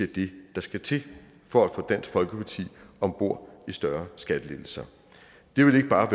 det der skal til for at få dansk folkeparti om bord i større skattelettelser det ville ikke bare